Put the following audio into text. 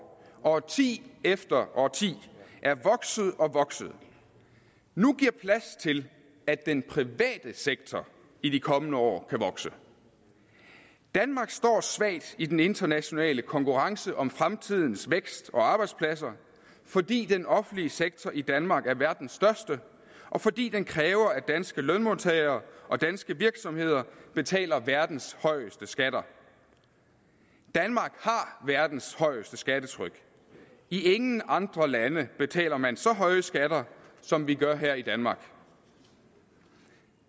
årti efter årti er vokset og vokset nu giver plads til at den private sektor i de kommende år kan vokse danmark står svagt i den internationale konkurrence om fremtidens vækst og arbejdspladser fordi den offentlige sektor i danmark er verdens største og fordi den kræver at danske lønmodtagere og danske virksomheder betaler verdens højeste skatter danmark har verdens højeste skattetryk i ingen andre lande betaler man så høje skatter som vi gør her i danmark